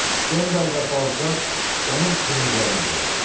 Stendal və Balzaq onun kumirləri idi.